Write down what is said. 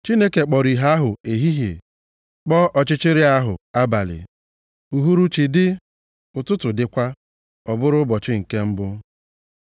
Chineke kpọrọ ìhè ahụ Ehihie, kpọọ ọchịchịrị ahụ Abalị. Uhuruchi dị, ụtụtụ dịkwa. Ọ bụrụ ụbọchị nke mbụ.